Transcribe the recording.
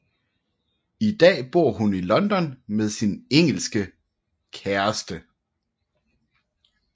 I dag bor hun i London med sin engelske kæreste